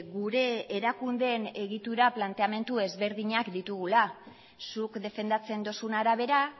gure erakundeen egitura planteamendu ezberdinak ditugula zuk defendatzen duzun arabera